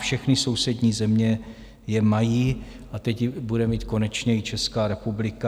Všechny sousední země je mají a teď ji bude mít konečně i Česká republika.